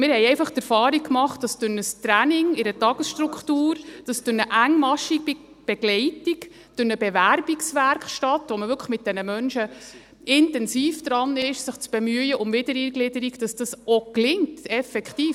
Wir haben einfach die Erfahrung gemacht, dass durch ein Training in einer Tagesstruktur, durch eine engmaschige Begleitung, durch eine Bewerbungswerkstatt, bei der man mit diesen Menschen wirklich intensiv daran ist, sich um Wiedereingliederung zu bemühen, dies auch gelingt, effektiv.